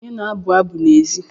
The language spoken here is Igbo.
Onye na-abụ abụ n'èzí?